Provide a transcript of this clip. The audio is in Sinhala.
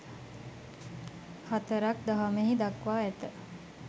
හතරක් දහමෙහි දක්වා ඇත.